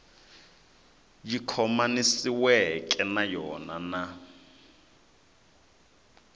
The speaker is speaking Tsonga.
yi khomanisiweke na yona na